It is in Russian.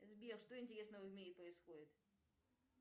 сбер что интересного в мире происходит